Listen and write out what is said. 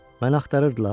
Məni axtarırdılar?